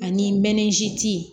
Ani mɛnzi